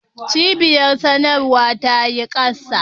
Cibiyar sadarwa ta yi kasa.